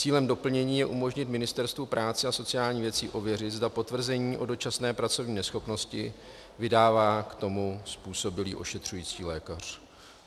Cílem doplnění je umožnit Ministerstvu práce a sociálních věcí ověřit, zda potvrzení o dočasné pracovní neschopnosti vydává k tomu způsobilý ošetřující lékař.